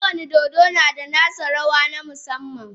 Kowane dodo na da nasa rawa na musamman.